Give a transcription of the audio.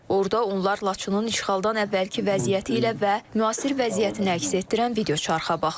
Orda onlar Laçının işğaldan əvvəlki vəziyyəti ilə və müasir vəziyyətini əks etdirən videoçarxa baxıblar.